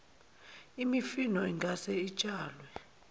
imifino ingase itshalwe